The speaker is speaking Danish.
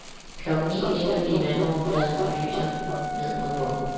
Klokken ni ligger vi i vandoverfladen og lyser ned mod bunden.